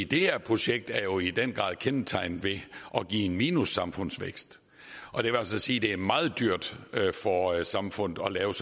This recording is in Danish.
det her projekt er jo i den grad kendetegnet ved at give en minussamfundsvækst og det vil altså sige at det er meget dyrt for samfundet at lave